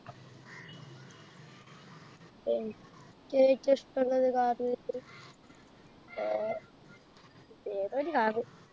എനിക്ക് ഏറ്റോ ഇഷ്ട്ടള്ളൊരു Car അഹ് ഏതൊരു Car ഉം